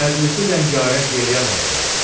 Məclisi rəngarəng eləyən olsun!"